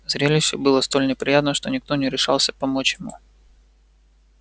зрелище было столь неприятно что никто не решался помочь ему